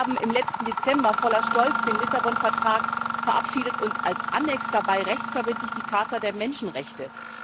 Wir haben im letzten Dezember voller Stolz den Lissabon Vertrag verabschiedet und als Anhang dazu rechtsverbindlich die Charta der Menschenrechte.